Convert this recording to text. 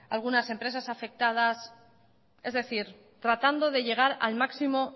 algunas empresas afectadas es decir tratando de llegar al máximo